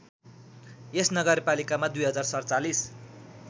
यस नगरपालिकामा २०४७